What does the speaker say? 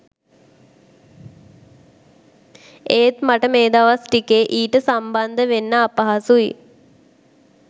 එත් මට මේ දවස් ටිකේ ඊට සම්බන්ධ වෙන්න අපහසුයි